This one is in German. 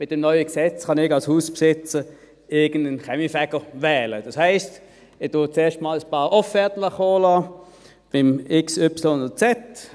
Mit dem neuen Gesetz kann ich als Hausbesitzer irgendeinen Kaminfeger wählen, das heisst: Ich lasse zuerst ein paar Offerten kommen, von X, Y oder Z.